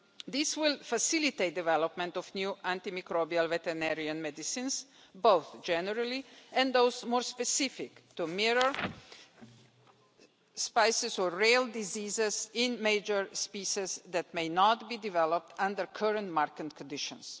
This will facilitate the development of new antimicrobial veterinarian medicines, both generally and those more specific to mirror real diseases in major species that may not be developed under current market conditions.